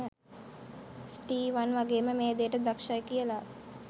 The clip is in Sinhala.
ස්ටීවන් වගේම මේ දේට දක්ෂයි කියලා.